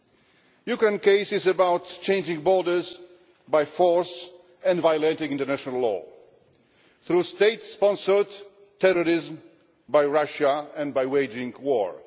The Ukraine case is about changing borders by force and violating national law through state sponsored terrorism by Russia and by waging war.